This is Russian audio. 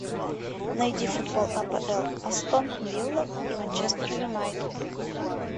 найди футбол апл астон вилла и манчестер юнайтед